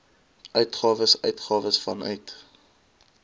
uitgawes uitgawes vanuit